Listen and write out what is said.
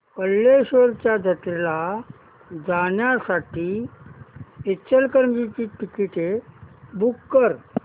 कल्लेश्वराच्या जत्रेला जाण्यासाठी इचलकरंजी ची तिकिटे बुक कर